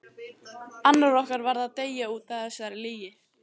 Annar okkar varð að deyja útaf þessari lygi.